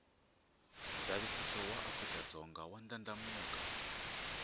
nshaviso waafrikadzonga wandlandlamuka